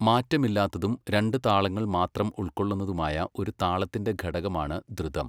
മാറ്റമില്ലാത്തതും രണ്ട് താളങ്ങൾ മാത്രം ഉൾക്കൊള്ളുന്നതുമായ ഒരു താളത്തിന്റെ ഘടകമാണ് ധൃതം.